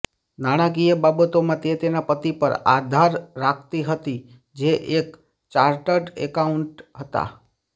નાણાકીય બાબતોમાં તે તેના પતિ પર આધાર રાખતી હતી જે એક ચાર્ટર્ડ એકાઉન્ટન્ટ હતા